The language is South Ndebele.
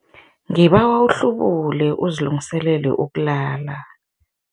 Ngibawa uhlubule uzilungiselele ukulala.